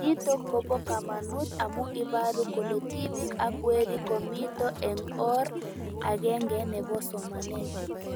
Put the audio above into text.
Nitok kopo kamanut amu iparu kole tipik ak werik komito eng' or ag'eng'e nepo somanet